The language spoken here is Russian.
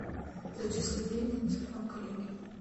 зачисли деньги на телефон коллеги